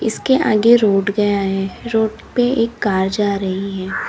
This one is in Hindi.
उसके आगे रोड गया है रोड पे एक कार जा रही है।